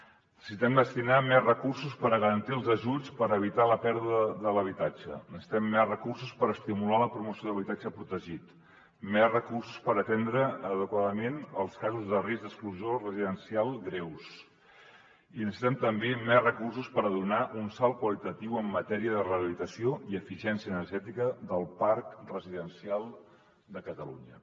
necessitem destinar hi més recursos per garantir els ajuts per evitar la pèrdua de l’habitatge necessitem més recursos per estimular la promoció d’habitatge protegit més recursos per atendre adequadament els casos de risc d’exclusió residencial greus i necessitem també més recursos per fer un salt qualitatiu en matèria de rehabilitació i eficiència energètica del parc residencial de catalunya